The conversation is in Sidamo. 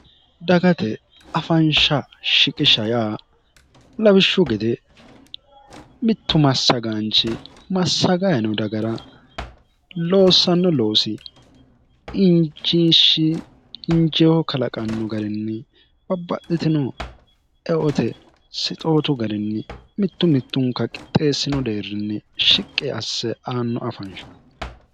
dagate afansha shiqisha yaa lawishshu gede mittu massagaanchi massagayino dagara loossanno loosi injiishshi injeeho kalaqanno garinni babba'litino eote sixootu garinni mittu mittunka qixxeessino deerrinni shiqqe asse aanno afanshati